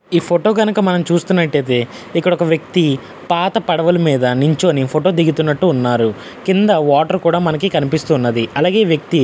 ఇక్కడ కనుక మనం చూసినట్టైతే ఇక్కడ ఒక వ్యక్తి పాత పడవల మీద నిల్చుని ఫోటో దిగుటున్నట్టు ఉన్నారు. కింద వాటర్ కూడా మనకు కనిపిస్తున్నది. అలాగే ఈ వ్యక్తి --